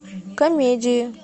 комедии